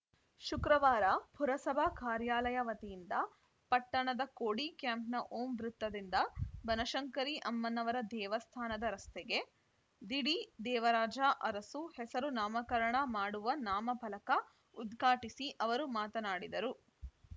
ಶುಕ್ರವಾರ ಪುರಸಭಾ ಕಾರ್ಯಾಲಯ ವತಿಯಿಂದ ಪಟ್ಟಣದ ಕೋಡಿಕ್ಯಾಂಪ್‌ನ ಓಂ ವೃತ್ತದಿಂದ ಬನಶಂಕರಿ ಅಮ್ಮನವರ ದೇವಸ್ಥಾನದ ರಸ್ತೆಗೆ ದಿ ಡಿದೇವರಾಜ ಅರಸು ಹೆಸರು ನಾಮಕರಣ ಮಾಡುವ ನಾಮಫಲಕ ಉದ್ಘಾಟಿಸಿ ಅವರು ಮಾತನಾಡಿದರು